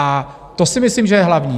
A to si myslím, že je hlavní.